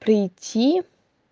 прийти